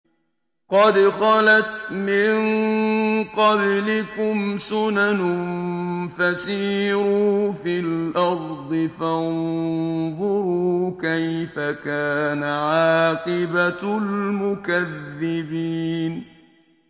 قَدْ خَلَتْ مِن قَبْلِكُمْ سُنَنٌ فَسِيرُوا فِي الْأَرْضِ فَانظُرُوا كَيْفَ كَانَ عَاقِبَةُ الْمُكَذِّبِينَ